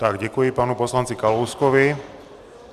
Tak děkuji panu poslanci Kalouskovi.